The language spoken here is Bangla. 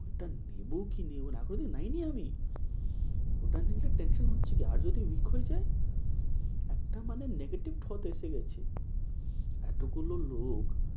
ওটা নেব কি নেব না এখনো নেইনি আমি, ওটা নিলে tension হচ্ছিল আর যদি weak হয়ে যায়। একটা মানে negative thought এসে গেছে, এতগুলো লোক